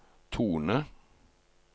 tone